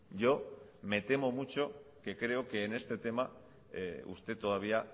yo me temo mucho que creo que en este tema usted todavía